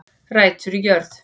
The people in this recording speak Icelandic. Rætur í jörð